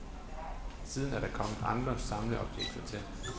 Siden er der kommet andre samleobjekter til.